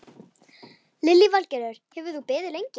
Lillý Valgerður: Hefur þú beðið lengi?